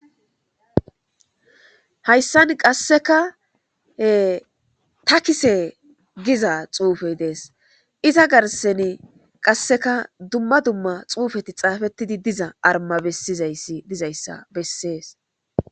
Hayssan qassekae takise giza xuufay dees. Iza garssani qasseka dumma dumma xuufeti xaafettidi diza arma bessiza issi diza issa bessees.